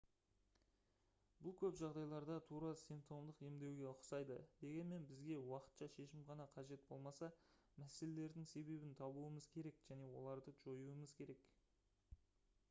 бұл көп жағдайларда тура симптомдық емдеуге ұқсайды дегенмен бізге уақытша шешім ғана қажет болмаса мәселелердің себебін табуымыз керек және оларды жоюымыз керек